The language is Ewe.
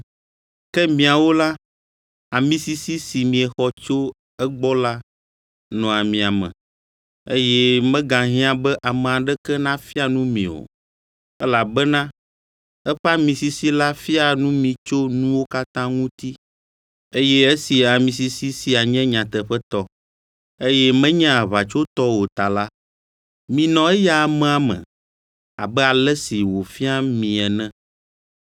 Ke miawo la, amisisi si miexɔ tso egbɔ la nɔa mia me, eye megahiã be ame aɖeke nafia nu mi o, elabena eƒe ami sisi la fiaa nu mi tso nuwo katã ŋuti, eye esi ami sisi sia nye nyateƒetɔ, eye menye aʋatsotɔ o ta la, minɔ eya amea me, abe ale si wòfia mi ene.